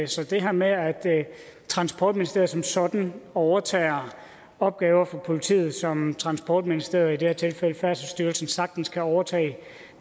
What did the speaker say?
så det her med at transportministeriet som sådan overtager opgaver fra politiet som transportministeriet det her tilfælde færdselsstyrelsen sagtens kan overtage